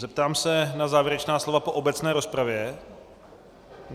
Zeptám se na závěrečná slova po obecné rozpravě.